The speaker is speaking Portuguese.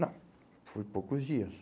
Não, foi poucos dias.